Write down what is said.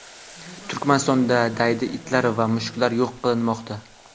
Turkmanistonda daydi itlar va mushuklar yo‘q qilinmoqda.